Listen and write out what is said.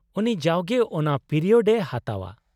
-ᱩᱱᱤ ᱡᱟᱣᱜᱮ ᱚᱱᱟ ᱯᱤᱨᱤᱭᱳᱰ ᱮ ᱦᱟᱛᱟᱣᱼᱟ ᱾